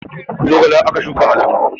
Zogale aka shuka a lambu